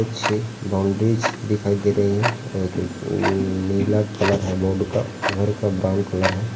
पीछे बाउंडरीस दिखाई दे रही है। कुछ नीला कलर है बोर्ड का। घर का ब्राउन कलर है।